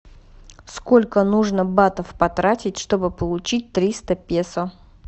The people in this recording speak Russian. сколько нужно батов потратить чтобы получить триста песо